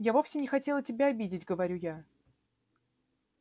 я вовсе не хотела тебя обидеть говорю я